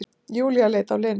Júlía leit á Lenu.